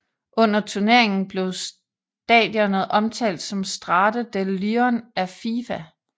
Under turneringen blev stadionet omtalt som Stade de Lyon af FIFA